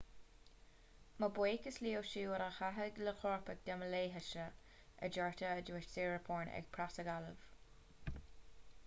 mo bhuíochas leo siúd a thacaigh le coirpeach de mo leithéidse a deirtear a dhúirt siriporn ag preasagallamh